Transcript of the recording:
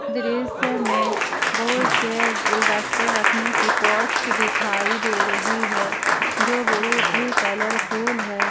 दृश्य में बहुत से गुलदस्ते रखने की पॉट्स दिखाई दे रही है जो बहुत ही कलरफुल हैं।